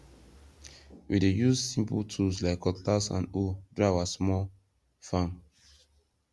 we dey use simple tools like cutlass and hoe do our small farm